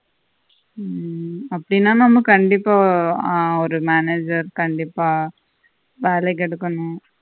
உம் அப்படின்னா நம்ம கண்டிப்பா ஒரு manager கண்டிப்பா வெலைக்கு எடுக்கணும்